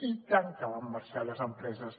i tant que van marxar les empreses